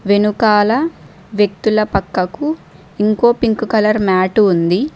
వెనుకాల వ్యక్తుల పక్కకు ఇంకో పింక్ కలర్ మ్యాటు ఉంది.